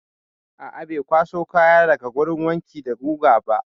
A'a, bai kwaso kaya daga wurin wanki da guga ba.